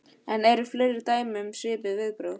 En eru fleiri dæmi um svipuð viðbrögð?